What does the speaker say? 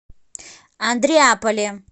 андреаполе